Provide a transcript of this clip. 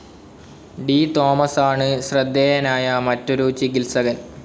D തോമസാണ്‌ ശ്രദ്ധേയനായ മറ്റൊരു ചികിത്സകൻ.